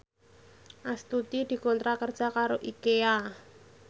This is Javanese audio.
Astuti dikontrak kerja karo Ikea